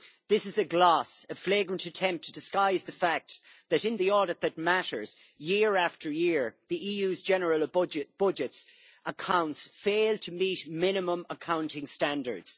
This is a gloss, a flagrant attempt to disguise the fact that, in the audit that matters, year after year the EU's general budget accounts fail to meet minimum accounting standards.